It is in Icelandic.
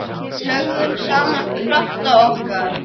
Við lögðum saman krafta okkar.